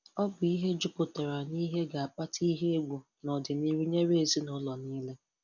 Ọ bụ ihe jupụtara nihe ga akpata ihe egwu nọdịnihu nyere ezinụlọ niile.